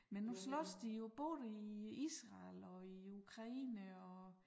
Men nu slås de jo både i Israel og i Ukraine og